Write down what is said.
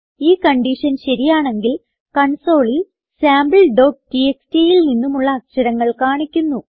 ഈ കൺഡിഷൻ ശരിയാണെങ്കിൽ കൺസോളിൽ Sampletxtൽ നിന്നുമുള്ള അക്ഷരങ്ങൾ കാണിക്കുന്നു